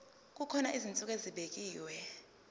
kukhona izinsuku ezibekiwe